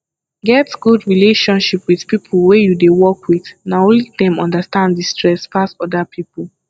get good relationship with pipo wey you dey work with na only dem understand di stress pass oda pipo